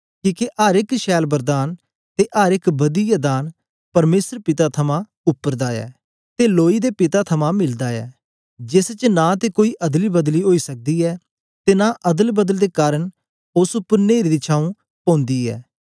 किके अर एक छैल वरदान ते अर एक बदियै दान परमेसर पिता थमां उपर दा ऐ ते लोईं दे पिता थमां मिलदा ऐ जेस च नां ते कोई अदलीबदली ओई सकदी ऐ ते नां अदलबदल दे कारन ओस उपर न्हेरे दी छाऊं पौंदी ऐ